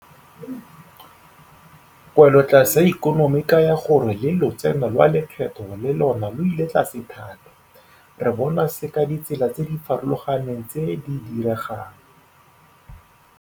Kwelotlase ya ikonomi e kaya gore le lotseno lwa lekgetho le lona lo ile tlase thata. Re bona se ka ditsela tse di farologaneng tse di diregang.